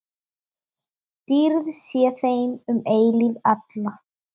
Dýrð sé þeim um eilífð alla.